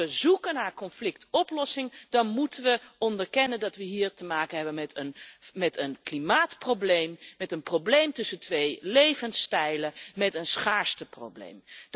Als we zoeken naar conflictoplossing, dan moeten we onderkennen dat we hier te maken hebben met een klimaatprobleem, met een probleem tussen twee levensstijlen, met een schaarsteprobleem.